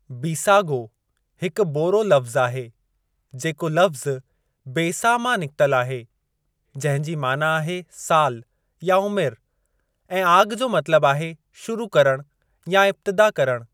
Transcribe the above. बीसागो हिकु बोरो लफ़्ज़ु आहे जेको लफ़्ज़ु 'बेसा मां निकितल आहे, जंहिं जी माना आहे सालु या उमिरि, ऐं 'आगि जो मतलबु आहे शुरू करणु या इब्तिदा करणु।